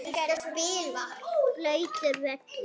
Blautur völlur.